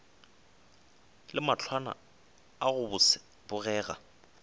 le mahlwana a go bogega